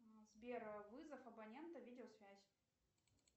сбер вызов абонента видеосвязь